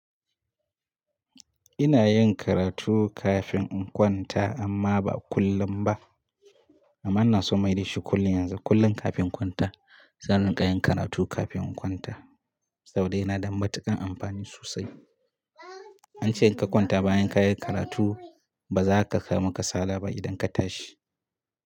Ina yin karatu kafin in kwanta amma ba kullum ba. Amma ina so mayar da shi kullum yanzu, kullum kafin kwanta. Zan rika yin karatu kafin in kwanta saboda yana da matuƙan amfani sosai. An ce in ka kwanta bayan ka yi karatu, ba za ka sami kasala ba idan ka tashi.